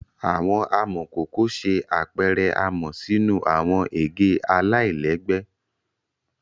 Awọn amọkoko ṣe apẹrẹ amọ sinu awọn ege alailẹgbẹ